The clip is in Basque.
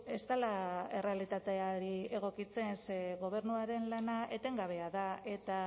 ez dela errealitateari egokitzen ze gobernuaren lana etengabea da eta